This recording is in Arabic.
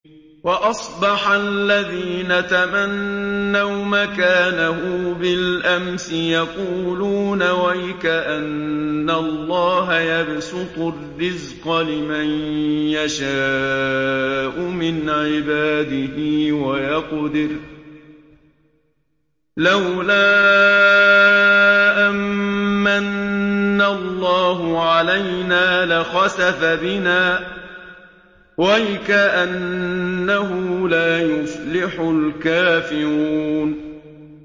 وَأَصْبَحَ الَّذِينَ تَمَنَّوْا مَكَانَهُ بِالْأَمْسِ يَقُولُونَ وَيْكَأَنَّ اللَّهَ يَبْسُطُ الرِّزْقَ لِمَن يَشَاءُ مِنْ عِبَادِهِ وَيَقْدِرُ ۖ لَوْلَا أَن مَّنَّ اللَّهُ عَلَيْنَا لَخَسَفَ بِنَا ۖ وَيْكَأَنَّهُ لَا يُفْلِحُ الْكَافِرُونَ